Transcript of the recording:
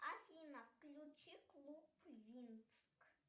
афина включи клуб винкс